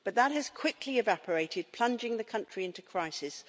But that has quickly evaporated, plunging the country into crisis.